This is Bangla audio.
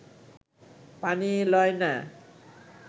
পানি লয় না